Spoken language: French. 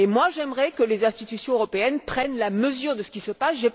J'aimerais que les institutions européennes prennent la mesure de ce qui se passe.